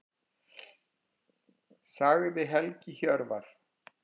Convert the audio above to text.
Sagði Helgi Hjörvar.